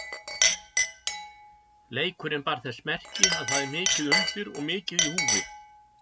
Leikurinn bar þess merki að það er mikið undir og mikið í húfi.